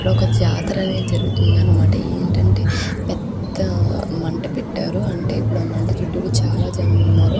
ఒక జాత్రనే జరుగుతుంది అనమాట. ఏంటంటే పెద్ద మంట పెట్టారు అంటే మంట చుటూరు చాలా జనం ఉన్నారు.